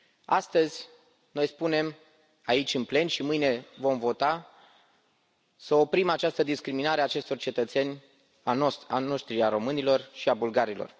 Astăzi, noi spunem aici în plen și mâine vom vota să oprim această discriminare a acestor cetățeni ai noștri, a românilor și a bulgarilor.